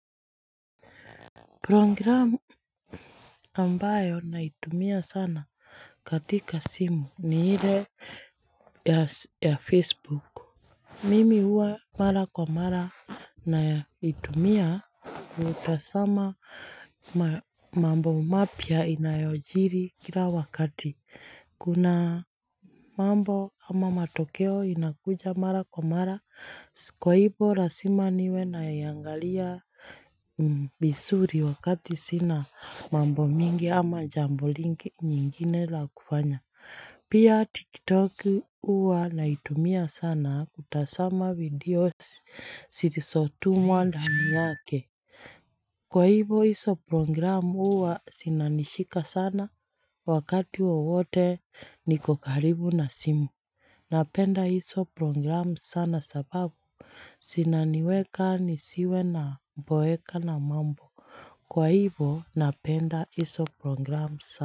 Programu ambayo naitumia sana katika simu ni ile ya Facebook. Mimi uwa mara kwa mara naiyumia kutasama mambo mapya inayojiri kila wakati. Kuna mambo ama matokeo inakuja mara kwa mara, kwa hivo lasima niwe naiangalia visuri wakati sina mambo mingi ama jambo lingi nyingine la kufanya. Pia tiktok uwa naitumia sana kutasama video sirisotumwa ndani yake Kwa hivo iso program uwa sinanishika sana wakati wowote nikokaribu na simu Napenda iso program sana sababu Sinaniweka nisiwe naboeka na mambo Kwa hivo napenda iso program sana.